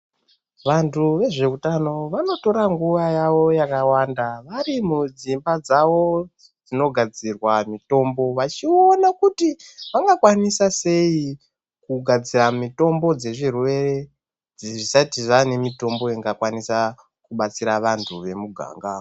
Vantu vezvehutano vanotora nguva yavo yakawanda vari mudzimba dzavo dzinogadzirwa mitombo vachiona kuti vangakwanisa sei kugadzira mitombo dzezvirwere zvisati zvaane mitombo kubatsira vantu vemuganga.